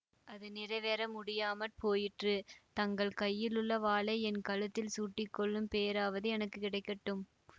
அது நிறைவேற முடியாமற் போயிற்று தங்கள் கையிலுள்ள வாளை என் கழுத்தில் சூட்டிக் கொள்ளும் பேறாவது எனக்கு கிடைக்கட்டும்